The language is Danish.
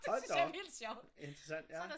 Hold da op! Interessant ja